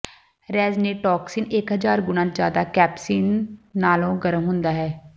ਰੈਜ਼ਿਨਿਰੀਟੌਕਸਿਨ ਇਕ ਹਜ਼ਾਰ ਗੁਣਾ ਜ਼ਿਆਦਾ ਕੈਪਸਸੀਨ ਨਾਲੋਂ ਗਰਮ ਹੁੰਦਾ ਹੈ